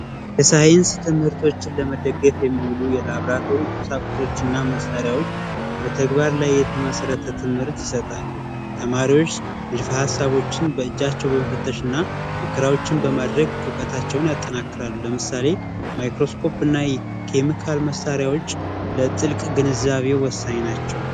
የሳይንስ ትምህርቶችን ለመደገፍ የሚሉ የላብራቶችና መሳሪያዎች በተግባር ላይ የተመሰረተ ትምህርት ይሰጣሉ። ተማሪዎች ሰዎች በእጃቸው በመፈተሽና ሙከራዎችን በማድረግ እውቀታቸውን ያጠናክራሉ ለምሳሌ:- ማይክሮስኮፕ መሳሪያዎች ለጥልቅ ግንዛቤ ወሳኝ ናቸው።